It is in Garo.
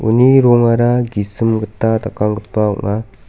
uni rongara gisim gita dakanggipa ong·a.